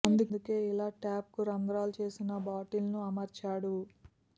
అందుకే ఇలా ట్యాప్ కు రంధ్రాలు చేసిన బాటిల్ ను అమర్చాడు